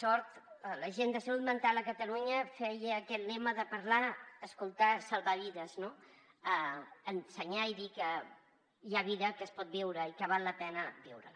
l’agenda de salut mental a catalunya feia aquest lema de parlar escoltar salvar vides no ensenyar i dir que hi ha vida que es pot viure i que val la pena viure la